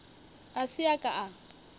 a se a ka a